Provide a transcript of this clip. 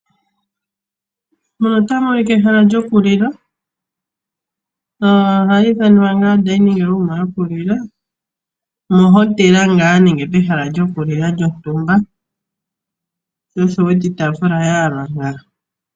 Muno otamu monika ehala lyokulila. Ohali ithanwa ngaa odining room yokulila, mo Hotel ngaa nenge ehala limwe lyokulila lyontumba sho osho wu wete iitaafula yayalwa nga.